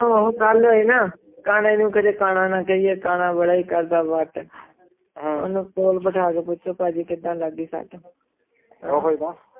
ਹੁਣ ਗੱਲ ਹੋਈ ਨਾ ਕਾਨੇ ਨੂੰ ਕਦੇ ਕਾਣਾ ਨਾ ਕਾਏ ਕਾਣਾ ਕੱਢਦਾ ਬੜਾ ਵਾਟ ਓਨੁ ਕੋਲ ਬਿਠਾ ਕੇ ਪੂਛੋ ਪਾ ਜੀ ਕੀੜਾ ਲੱਗੀ ਸੁਤ